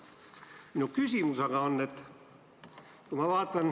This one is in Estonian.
" Minu küsimus.